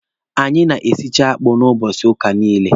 Anyị na-esicha akpụ n'ụbọchị ụka niile.